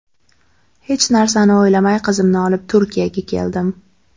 Hech narsani o‘ylamay qizimni olib Turkiyaga keldim.